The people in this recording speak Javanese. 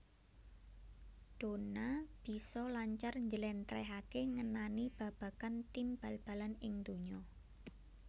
Donna bisa lancar njléntréhaké ngenani babagan tim bal balan ing donya